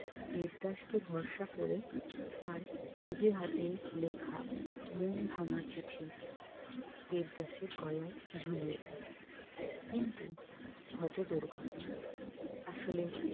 দেবদাসকে ভরসা করে তার নিজে হাতে লেখা মন ভাঙা চিঠি দেবদাসের গলায় ঝুলিয়ে দেয় কিন্তু ঘটে দুর্ঘটনা আসলে